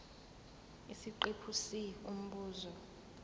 isiqephu c umbuzo